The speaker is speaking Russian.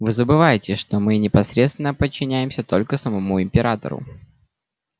вы забываете что мы непосредственно подчиняемся только самому императору